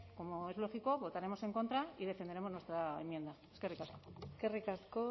como es lógico votaremos en contra y defenderemos nuestra enmienda eskerrik asko eskerrik asko